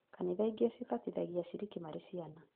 Kanitha ingĩ cibatithagia aciriki marĩ ciana